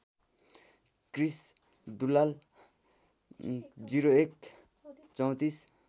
Krrish Dulal ०१ ३४